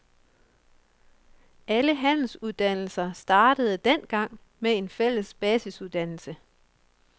Alle handelsuddannelser startede dengang med en fælles basisuddannelse.